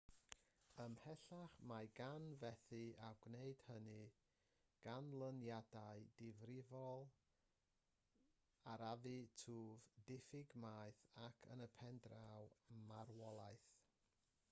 ymhellach mae gan fethu a gwneud hynny ganlyniadau difrifol arafu twf diffyg maeth ac yn y pen draw marwolaeth